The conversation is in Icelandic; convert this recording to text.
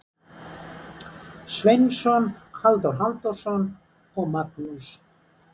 Sveinsson, Halldór Halldórsson og Magnús